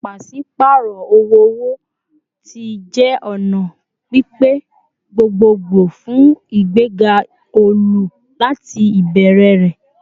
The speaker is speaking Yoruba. Paṣipaarọ owo-owo ti jẹ ọna pipe gbogbogbo fun igbega olu lati ibẹrẹ rẹ